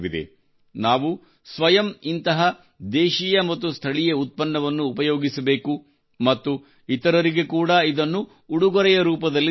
ನಾವು ಸ್ವಯಂ ಇಂತಹ ದೇಶೀಯ ಮತ್ತು ಸ್ಥಳೀಯ ಉತ್ಪನ್ನವನ್ನು ಉಪಯೋಗಿಸಬೇಕು ಮತ್ತು ಇತರರಿಗೆ ಕೂಡಾ ಇದನ್ನು ಉಡುಗೊರೆಯ ರೂಪದಲ್ಲಿ ನೀಡಬೇಕು